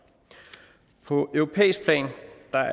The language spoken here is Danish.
på europæisk plan